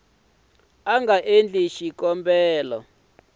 a nga endla xikombelo xo